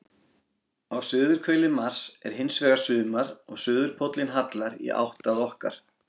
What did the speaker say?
Á suðurhveli Mars er hins vegar sumar og suðurpóllinn hallar í átt að okkar.